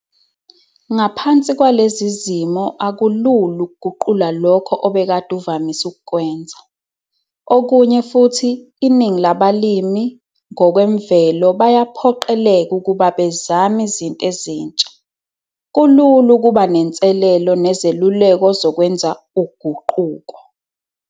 Ngaphansi kwalezi zimo akulula ukuguqula lokho obekade uvamise ukukwenza. Okunye futhi iningi labalimi, ngokwemvelo bayaphoqeleka ukuba bezame izinto ezintsha. Kulula ukuba nenselelo nezeluleko zokwenza uguquko.